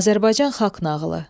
Azərbaycan Xalq nağılı.